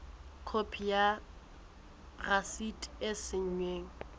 khopi ya rasiti e saennweng